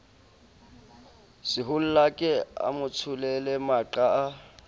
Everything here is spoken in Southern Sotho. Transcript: sehollake a motsholele maqa a